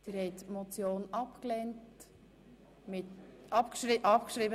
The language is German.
Sie haben die Motion abgeschrieben.